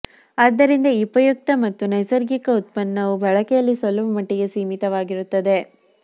ಆದ್ದರಿಂದ ಈ ಉಪಯುಕ್ತ ಮತ್ತು ನೈಸರ್ಗಿಕ ಉತ್ಪನ್ನವು ಬಳಕೆಯಲ್ಲಿ ಸ್ವಲ್ಪಮಟ್ಟಿಗೆ ಸೀಮಿತವಾಗಿರುತ್ತದೆ